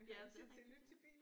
Ja det er rigtigt ja